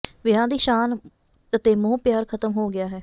ਵਿਆਹਾਂ ਦੀ ਸ਼ਾਨ ਅਤੇ ਮੋਹ ਪਿਆਰ ਖਤਮ ਹੋ ਗਿਆ ਹੈ